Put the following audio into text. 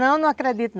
Não, não acredito.